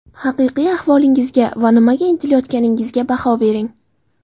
Haqiqiy ahvolingizga va nimaga intilayotganingizga baho bering.